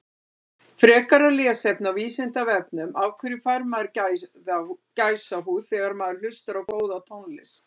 Frekara lesefni á Vísindavefnum Af hverju fær maður gæsahúð þegar maður hlustar á góða tónlist?